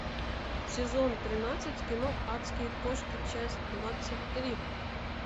сезон тринадцать кино адские кошки часть двадцать три